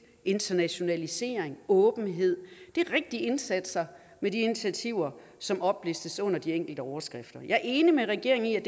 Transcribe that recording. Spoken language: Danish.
internationalisering og åbenhed det er rigtige indsatser og initiativer som oplistes under de enkelte overskrifter jeg er enig med regeringen